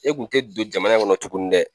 E kun tɛ don jamana in kɔnɔ tuguni dɛ